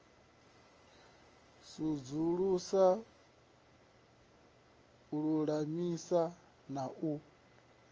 sudzulusa u lulamisa na u